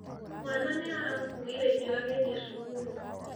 Mwana nĩ arakuuire irio agĩthiĩ cukuru.